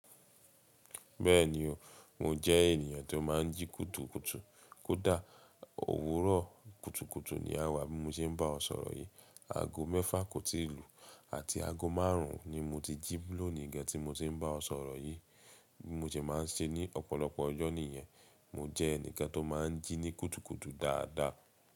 Bẹ́ẹ̀ni o, mo jẹ́ ènìyàn tó má n jí kùtùkùtù. Kódà òwúrọ̀ kùtùkùtù ni a wà bí mo ṣe ń bá ọ sọ̀rọ̀ yìí. Aago mẹ́fà kò tí ì lù àti aago márùn ún ni mo ti jí lónìí gan tí mo ti n bá ọ sọ̀rọ̀ yìí. Bí mo ṣe má n ṣe ní ọ̀pọ̀lọpọ̀ ọjọ́ nìyẹn. Mo jẹ́ ẹnìkan tó má n jí ní kùtùkùtù dáadáa.